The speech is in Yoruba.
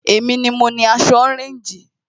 Èmi ni mo ni aṣọ ọréńjì